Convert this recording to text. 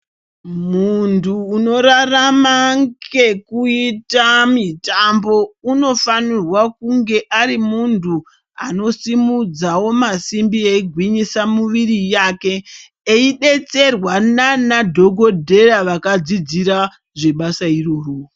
Munthu unorarama ngekuita mitambo unofanirwa kunge ari munthu anosumudzawo masimbi eigwinyisa muviri yake eidetserwa nanadhokodheya vakadzidzira zvebasa irororo.